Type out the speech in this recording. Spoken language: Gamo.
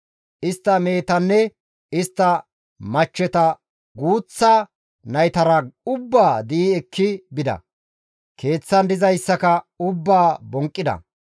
Istta mehetanne istta machcheta guuththa naytara ubbaa di7i ekki bida; keeththan dizayssaka ubbaa bonqqida.